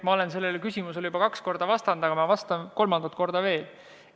Ma olen sellele küsimusele tegelikult juba kaks korda vastanud, aga vastan kolmandat korda veel.